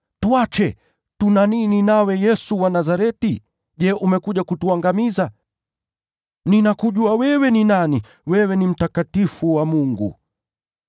“Tuache! Tuna nini nawe, Yesu wa Nazareti? Je, umekuja kutuangamiza? Ninakujua wewe ni nani. Wewe ndiwe Aliye Mtakatifu wa Mungu!”